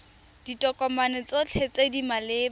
ditokomane tsotlhe tse di maleba